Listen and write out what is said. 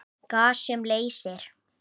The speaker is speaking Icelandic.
Gas sem leysir